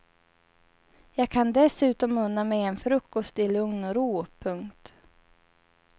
Jag kan dessutom unna mig en frukost i lugn och ro. punkt